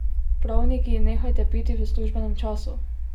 Pravniki, nehajte piti v službenem času!